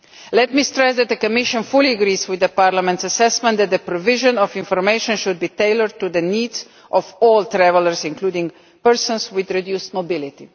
Let me stress that the Commission fully agrees with Parliament's assessment that the provision of information should be tailored to the needs of all travellers, including persons with reduced mobility.